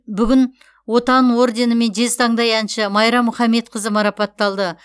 бүгін отан орденімен жезтаңдай әнші майра мұхамедқызы марапатталды